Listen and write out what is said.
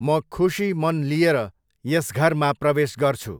म खुशी मन लिएर यस घरमा प्रवेश गर्छु।